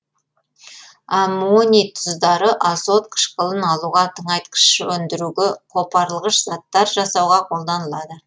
аммоний тұздары азот қышқылын алуға тыңайтқыш өндіруге қопарылғыш заттар жасауға қолданылады